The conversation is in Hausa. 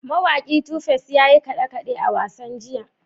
Mawaki Tu Face ya yi kaɗe-kaɗe a wasan jiya?